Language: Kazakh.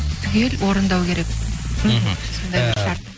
түгел орындау керек мхм сондай бір шарт